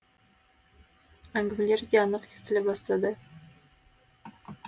әңгімелері де анық естіле бастады